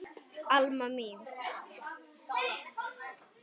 Alma mín.